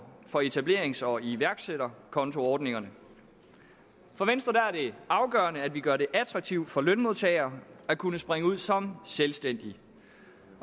for etablerings og iværksætterkontoordningerne for venstre er det afgørende at vi gør det attraktivt for lønmodtagere at kunne springe ud som selvstændige